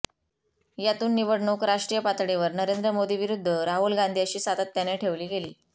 यातून निवडणूक राष्ट्रीय पातळीवर नरेंद्र मोदी विरुद्ध राहुल गांधी अशी सातत्याने ठेवली गेली